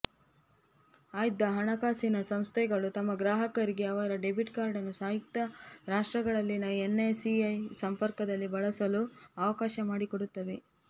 ಆಯ್ದ ಹಣಕಾಸಿನ ಸಂಸ್ಥೆಗಳು ತಮ್ಮ ಗ್ರಾಹಕರಿಗೆ ಅವರ ಡೆಬಿಟ್ ಕಾರ್ಡನ್ನು ಸಂಯುಕ್ತ ರಾಷ್ಟ್ರಗಳಲ್ಲಿನ ಎನ್ವೈಸಿಇ ಸಂಪರ್ಕದಲ್ಲಿ ಬಳಸಲು ಅವಕಾಶ ಮಾಡಿಕೊಡುತ್ತವೆ